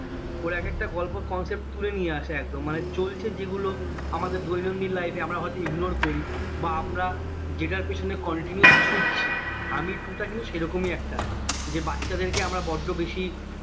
ওর এক একটা গল্প concept তুলে নিয়ে আসে একদম মানে চলছে যেগুলো আমাদের দৈনন্দিন life এ আমরা হয়তো ignore করি বা আমরা যেটার পিছনে continue ছুটছি হামি two টা কিন্তু সেরকমই একটা যে বাচ্চাদেরকে আমরা বড্ড বেশি